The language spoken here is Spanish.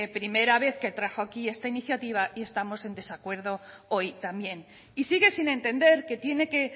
primera vez que trajo aquí esta iniciativa y estamos en desacuerdo hoy también y sigue sin entender que tiene que